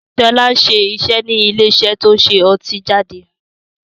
Sọlá ń ṣiṣẹ́ ni ilé iṣẹ́ to ń ṣe ọtí jáde